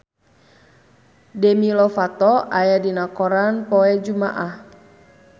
Demi Lovato aya dina koran poe Jumaah